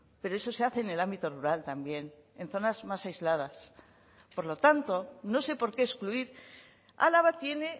pero eso se hace en el ámbito rural también en zonas más aisladas por lo tanto no sé por qué excluir álava tiene